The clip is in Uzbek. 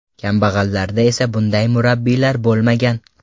Kambag‘allarda esa bunday murabbiylar bo‘lmagan.